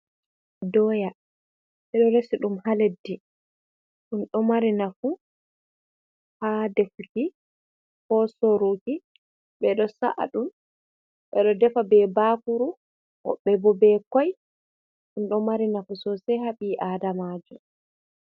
Dooya ɓeɗo reesi ɗum ha leddi, ɗum ɗo maari naafu ha defuuki ko soruuki ɓeɗo sa’aɗum ɓeɗo deefa be baakuru, wobɓebo be koi ɗum ɗo maari naafu sosai haa bii adamajoo.